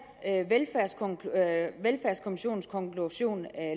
velfærdskommissionens konklusion